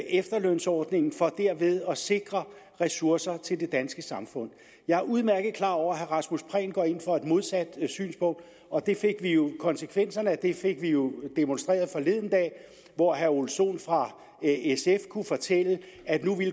efterlønsordningen for derved at sikre ressourcer til det danske samfund jeg er udmærket klar over at herre rasmus prehn går ind for et modsat synspunkt og konsekvenserne af det fik vi jo demonstreret forleden dag hvor herre ole sohn fra sf kunne fortælle at